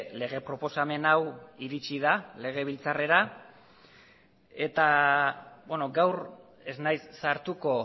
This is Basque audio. lege proposamen hau iritsi da legebiltzarrera gaur ez naiz sartuko